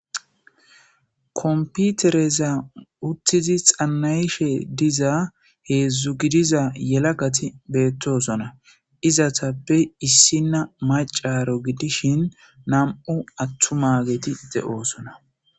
komputereza uttizi xannayishe diza heedzdzu gidiza yelagati beettosona izatappe issinna macaro gidishin nam'u attumageti de'oosona